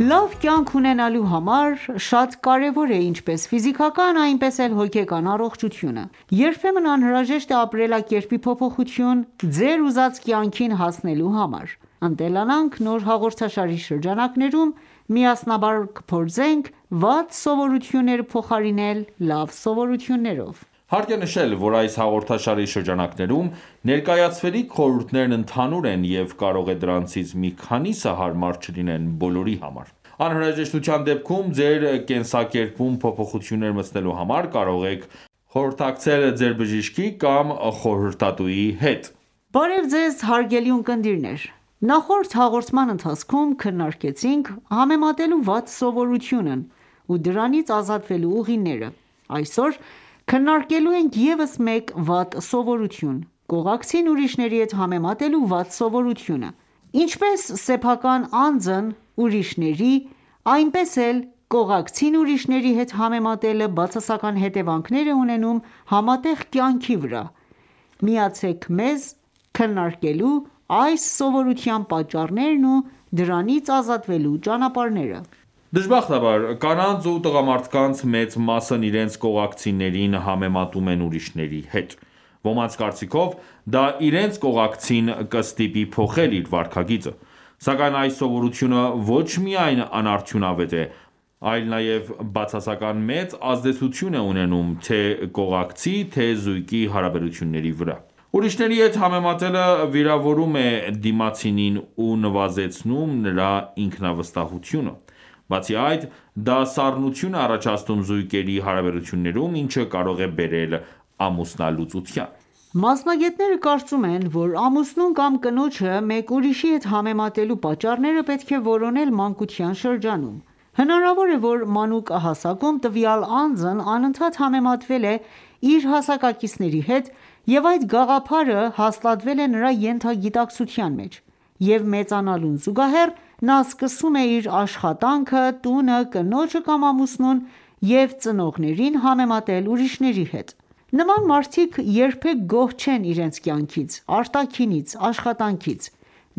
Լավ կյանք ունենալու համար շատ կարևոր է ինչպես ֆիզիկական, այնպես էլ հոգեկան առողջությունը:Երբեմն անհրաժեշտ է ապրելակերպի փոփոխություն՝ ձեր ուզած կյանքին հասնելու համար: «Ընտելանանք» նոր հաղորդաշարի շրջանակներում միասնաբար կփորձենք վատ սովորությունները փոխարինել լավ սովորություններով։ Հարկ է նշել, որ այս հաղորդաշարի շրջանակներում ներկայացվելիք խորհուրդներն ընդհանուր են, և կարող է դրանցից մի քանիսը հարմար չլինեն բոլորի համար: Անհրաժեշտության դեպքում ձեր կենսակերպում փոփոխություններ մտցնելու համար կարող եք խորհրդակցել ձեր բժշկի կամ խորհրդատուի հետ: Բարև Ձեզ, հարգելի ունկնդիրներ: Նախորդ հաղորդման ընթացքում քննարկեցինք համեմատելու վատ սովորությունն ու դրանից ազատվելու ուղիները: Այսօր քննարկելու ենք ևս մեկ վատ սովորություն՝ կողակցին ուրիշների հետ համեմատելու վատ սովորությունը: Ինչպես սեփական անձն ուրիշների, այնպես էլ կողակցին ուրիշների հետ համեմատելը բացասական հետևանքներ է ունենում համատեղ կյանքի վրա: Միացեք մեզ՝ քննարկելու այս սովորութան պատճառներն ու դրանից ազատվելու ճանապարհները: Դժբախտաբար, կանանց ու տղամարդկանց մեծ մասն իրենց կողակիցներին համեմատում են ուրիշների հետ: Ոմանց կարծիքով, դա իրենց կողակցին կստիպի փոխել իր վարքագիծը: Սակայն այս սովորությունը ոչ միայն անարդյունավետ է, այլ նաև բացասական մեծ ազդեցություն է ունենում թե՝ կողակցի, թե՝ զույգի հարաբերությունների վրա: Ուրիշների հետ համեմատելը վիրավորում է դիմացինին ու նվազեցնում նրա ինքնավստահությունը: Բացի այդ, դա սառնություն է առաջացնում զույգերի հարաբերություններում, ինչը կարող է բերել ամուսնալուծության: Մասնագետները կարծում են, որ ամուսնուն կամ կնոջը մեկ ուրիշի հետ համետաելու պատճառները պետք է որոնել մանկության շրջանում: Հնարավոր է, որ մանուկ հասակում տվյալ անձն անընդհատ համեմատվել է իր հասակակիցնբերի հետ և այդ գաղափարը հաստատվել է նրա ենթագիտակցության մեջ: Եվ մեծանալուն զուգահեռ, նա սկսում է իր աշխատանքը, տունը, կնոջը կամ ամուսնուն և ծնողներին համեմատել ուրիշների հետ: Նման մարդիկ երբեք գոհ չեն իրենց կյանքից, արտաքինից, աշխատանքից: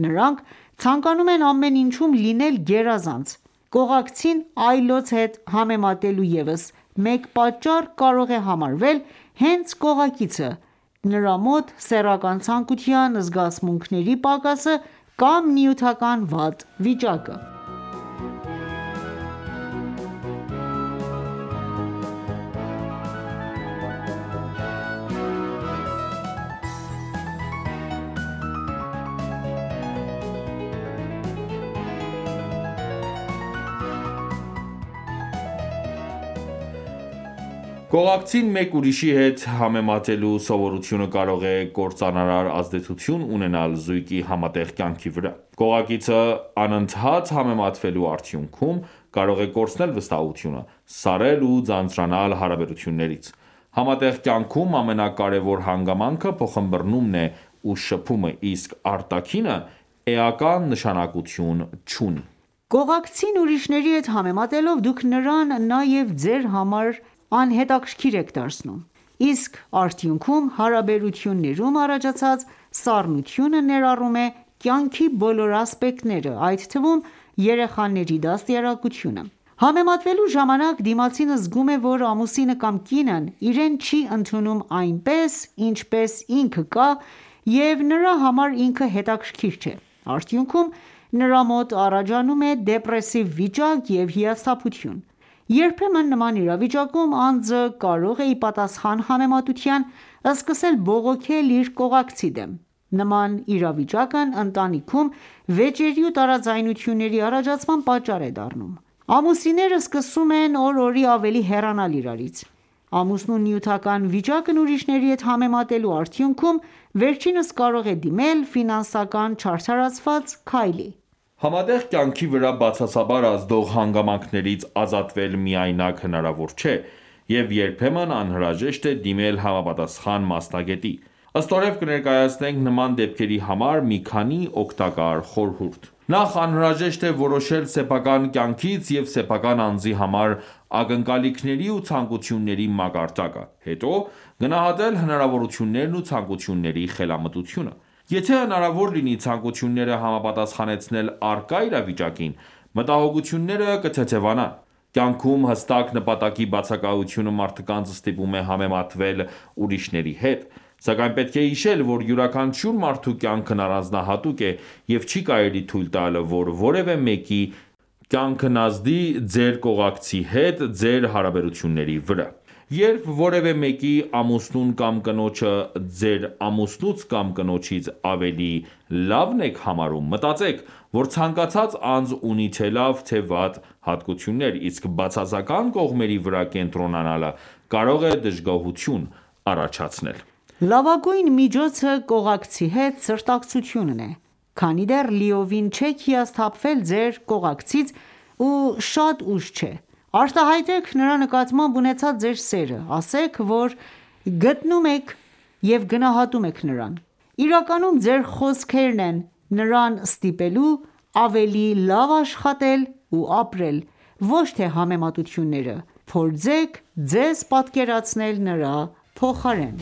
Նրանք ցանկանում են ամեն ինչում լինել գերազանց: Կողակցին այլոց հետ համեմատելու ևս մեկ պատճառ կարող է համարվել հենց կողակիցը՝ նրա մոտ սեռական ցանկության, զգացմունքների պակասը կամ նյութական վատ վիճակը: Կողակցին մեկ ուրիշի հետ համեմատելու սովորությունը կարող է կործանարար ազդեցություն ունենալ զույգի համատեղ կյանքի վրա: Կողակիցը անընդհատ համեմատվելու արդյունքում կարող է կորցնել վստահությունը, սառել ու ձանձրանալ հարաբերություններից: Համատեղ կյանքում ամենակարևոր հանգամանքը փոխըմբըռնումն է ու շփումը: Իսկ արտաքինը էական նշանակություն չունի: Կողակցին ուրշների հետ համեմատելով դուք նրան նաև ձեր համար եք անհետաքրքիր դարձնում: Իսկ արդյուքնում հարաբերություններում առաջացած սառնությունը ներառում է կյանքի բոլոր ասպեկտները, այդ թվում՝ երեխաների դաստիարակությունը: Համեմատվելու ժամանակ, դիմացինը զգում է, որ ամուսինը կամ կինն իրեն չի ընդունում այնպիսին, ինչպիսին ինքը կա և նրա համար ինքը հետաքրքիր չէ: Արդյունքում, նրա մոտ առաջանում է դեպրեսիվ վիճակ և հիասթափություն: Երբեմն նման իրավիճակում անձը կարող է ի պատասխան համեմատության, սկսել բողոքել իր կողակցի դեմ: Նման իրավիճակն ընտանիքում վեճերի ու տարաձայնությունների առաջացման պատճառ է դառնում: Ամուսինները սկսում են օր օրի ավելի հեռանալ իրարից: Ամուսնու նյութական վիճակն ուրիշների հետ համեմատելու արդյունքում, վերջինս կարող է դիմել ֆինանսական չարդարացված քայլի: Համատեղ կյանքի վրա բացասաբար ազդող հանգամանքներից ազատվել միայնակ հնարավոր չէ և երբեմն անհրաժեշտ է դիմել համապատասխան մասնագետի: Ստորև կներկայացնենք նման դեպքերի համար մի քանի օգտակար խորհուրդ: Նախ անհրաժեշտ է որոշել սեփական կյանքից և սեփական անձի համար ակնկալիքների ու ցանկությունների մակարդակը, հետո գնահատել հնարավորություններն ու ցանկությունների խելամտությունը: Եթե հնարավոր լինի ցանկությունները համապատասխանեցնել առկա իրավիճակին, մտահոգությունները կթեթևանան: Կյանքում հստակ նպատակի բացակայությունը մարդկանց ստիպում է համեմատվել ուրիշների հետ: Սակայն պետք է հիշել, որ յուրաքանչյուր մարդու կյանքն առանձնահատուկ է և չի կարելի թույլ տալ որ որևէ մեկի կյանքն ազդի ձեր կողակցի հետ ձեր հարաբերությունների վրա: Երբ որևէ մեկի ամուսնուն կամ կնոջը ձեր ամուսնուց կամ կնոջից ավելի լավն եք համարում, մտածեք, որ ցանկացած անձ ունի թե լավ թե վատ հատկություններ, իսկ բացասական կողմերի վրա կենտրոնանալը կարող է դժգոհություն առաջացնել: Լավագույն միջոցը կողակցի հետ սրտակցությունն է: Քանի դեռ լիովին չեք հիասփթափվել ձեր կողակցից ու շատ ուշ չէ, արտահայտեք նրա նկատմամբ ունեցած ձեր սերը, ասեք, որ գնատում եք նրան: Իրականում ձեր խոսքերն են նրան ստիպելու ավելի լավ աշխատել ու ապրել, ոչ թե համեմատությունները: Փորձեք ձեզ պատկերացնել նրա փոխարեն: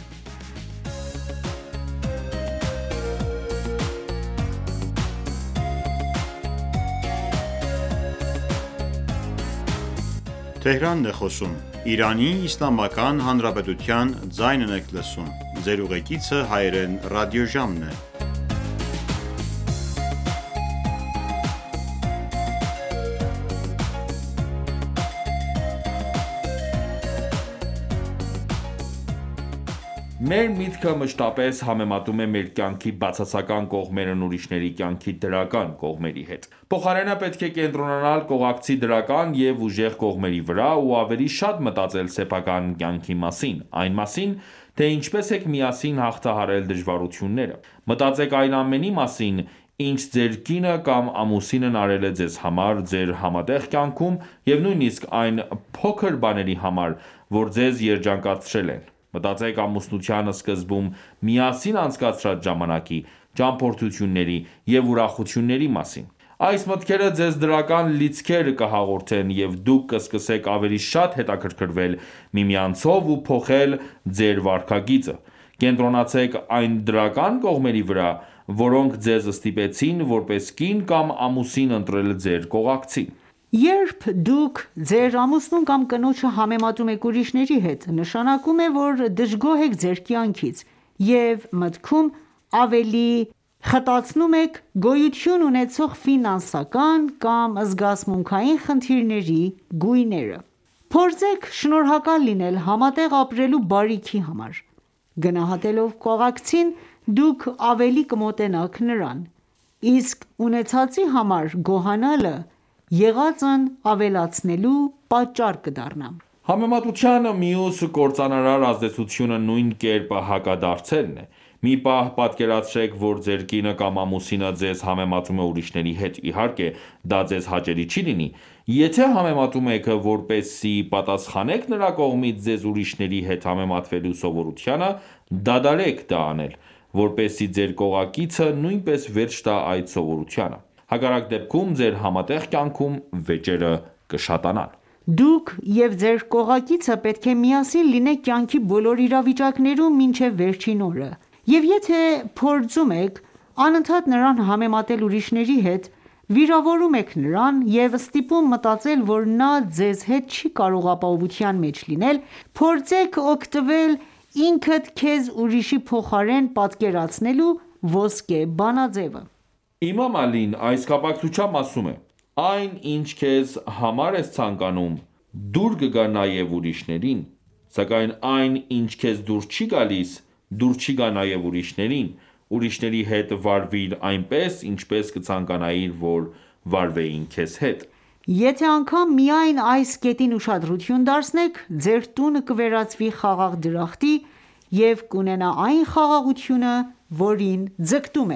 Մեր միտքը մշտապես համեմատում է մեր կյանքի բացասական կողմերն ուրիշների կյանքի դրական կողմերի հետ: Փոխարենը պետք է կենտրոնանալ կողակցի դրական և ուժեղ կողմերի վրա ու ավելի շատ մտածել սեփական կյանքի մասին, այն մասին, թե ինչպես եք միասին հաղթահարել դժվարությունները: Մտածեք այն ամենի մասին, ինչ ձեր կինը կամ ամուսինն արել է ձեզ համար ձեր համատեղ կյանքում և նույնիսկ այն փոքր բաների համար, որ ձեզ երջանկացրել են: Մտածեք ամուսնության սկզբում միասին անցկացրած ժամանակի, ճամփորդությունների և ուրախությունների մասին: Այս մտքերը ձեզ դրական լիցքեր կհաղորդեն և դուք կսկսեք ավելի շատ հետաքրքրվել միմյանցով ու փոխել ձեր վարքագիծը: Կենտրոնացեք այն դրական կողմերի վրա, որոնք ձեզ ստիպեցին որպես կին կամ ամուսին ընտրել ձեր կողակցին: Երբ դուք ձեր ամուսնուն կամ կնոջը համեմատում եք ուրիշների հետ, նշանակում է, որ դժգոհ եք ձեր կյանքից, և մտքում ավելի եք խտացնում գոյություն ունեցող ֆինանսական կամ զգացմունքային խնդիրների գույները: Փորձեք շնորհակալ լինել համատեղ ապրելու բարիքի համար: Գնահատելով կողակցին, դուք ավելի կմոտենաք նրան: Իսկ ունեցածի համար գոհանալը եղածն ավելացնելու պատճառ կդառնա: Համեմատության մյուս կործանարար ազդեցությունը նույն կերպ հակադարձելն է: Մի պահ պատկերացրեք որ ձեր կինը կամ ամուսինը ձեզ համեմատում է ուրիշների հետ: Իհարկե դա ձեզ հաճելի չի լինի: Եթե համեմատում եք որպեսզի պատասխանեք նրա կողմից ձեզ ուրիշների հետ համեմատվելու սովորությանը, դադարեք դա անել, որպեսզի ձեր կողակիցը նույնպես վերջ տա այդ սովորությանը: Հակառակ դեպքում ձեր համատեղ կյանքում վեճերը կշատանան: Դուք և ձեր կողակիցը պետք է միասին լինեք կյանքի բոլոր իրավիճակներում, մինչև վերջին օրը: Եվ եթե փորձում եք անընդատ նրան համեմատել ուրիշների հետ, վիրավորում եք նրան և ստիպում մտածել, որ նա ձեզ հետ չի կարող ապահովության մեջ լինել: Փորձեք օգտվել «ինքդ քեզ ուրիշի փոխարեն պատկերացնելու» ոսկե բանաձևը: Իմամ Ալին, այս կապակցությամբ ասում է. «Այն, ինչ քեզ համար ես ցանկանում, դուր կգա նաև ուրիշներին: Սակայն այն, ինչ քեզ դուր չի գալիս, դուր չի գա նաև ուրիշներին: Ուրիշների հետ վարվիր այնպես, ինչպես կցանկանայիր, որ վարվեին քեզ հետ»: Եթե անգամ միայն այս կետին ուշադրություն դարձնեք, ձեր տւնը կվերածվի խաղաղ դրախտի և կունենա այն խաղաղությունը, որին ձգտում